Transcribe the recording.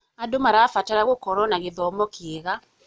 Andũ marabatara gũkorwo na gĩthomo kĩega.